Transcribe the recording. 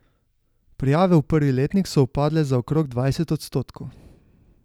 Prijave v prvi letnik so upadle za okrog dvajset odstotkov.